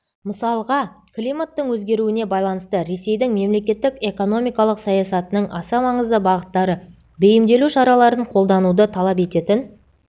мысалыға климаттың өзгеруіне байланысты ресейдің мемлекеттік экономикалық саясатының аса маңызды бағыттары бейімделу шараларын қолдануды талап ететін